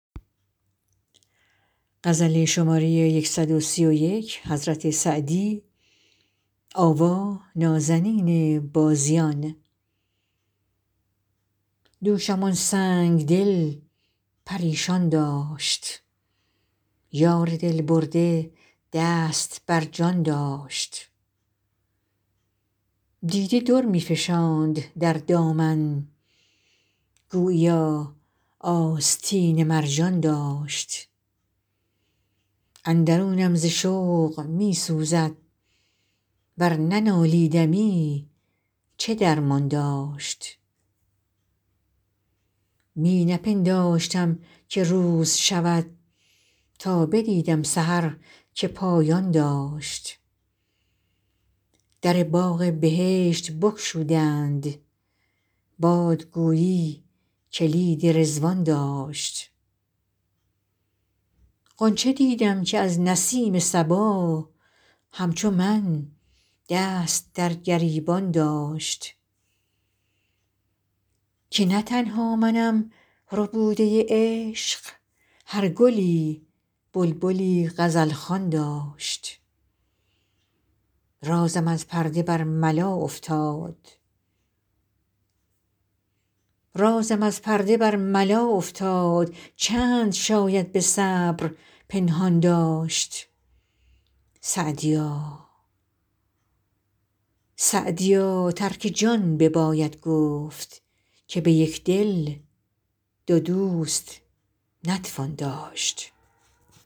دوشم آن سنگ دل پریشان داشت یار دل برده دست بر جان داشت دیده در می فشاند در دامن گوییا آستین مرجان داشت اندرونم ز شوق می سوزد ور ننالیدمی چه درمان داشت می نپنداشتم که روز شود تا بدیدم سحر که پایان داشت در باغ بهشت بگشودند باد گویی کلید رضوان داشت غنچه دیدم که از نسیم صبا همچو من دست در گریبان داشت که نه تنها منم ربوده عشق هر گلی بلبلی غزل خوان داشت رازم از پرده برملا افتاد چند شاید به صبر پنهان داشت سعدیا ترک جان بباید گفت که به یک دل دو دوست نتوان داشت